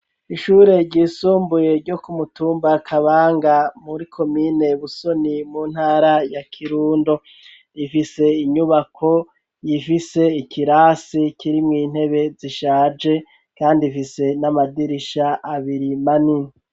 Ishure ryisumbuye ryo ku mutumba Kabanga muri komine Busoni mu ntara ya kirundo ifise inyubako ifise ikirasi kirimwo intebe zishaje kandi ifise n'amadirisha abiri manini.